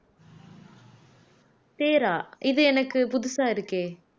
தேரா இது எனக்கு புதுசா இருக்கே